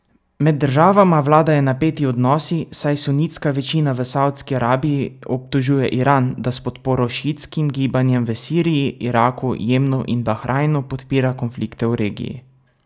Med državama vladajo napeti odnosi, saj sunitska večina v Savdski Arabiji obtožuje Iran, da s podporo šiitskim gibanjem v Siriji, Iraku, Jemnu in Bahrajnu podpira konflikte v regiji.